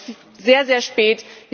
Es ist sehr, sehr spät.